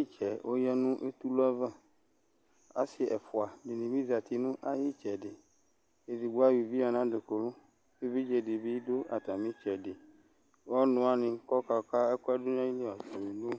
itsɛ oya netulle ayava ɔsi ɛfua ya nayitsɛdi edigbo eya uvi nadukulu evidze didu atemitsedi ɔnuwanikokaka wuani dunu nayilu